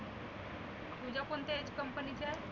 तुझे कोणत्या company चे आहे?